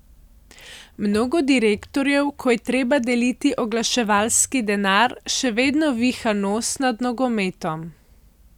Mnogo direktorjev, ko je treba deliti oglaševalski denar, še vedno viha nos nad nogometom.